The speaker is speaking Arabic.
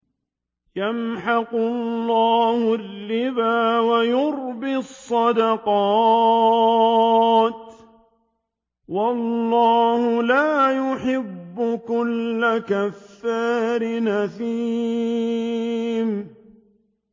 يَمْحَقُ اللَّهُ الرِّبَا وَيُرْبِي الصَّدَقَاتِ ۗ وَاللَّهُ لَا يُحِبُّ كُلَّ كَفَّارٍ أَثِيمٍ